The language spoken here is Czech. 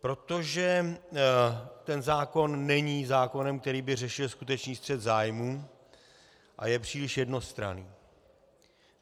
Protože ten zákon není zákonem, který by řešil skutečný střet zájmů, a je příliš jednostranný.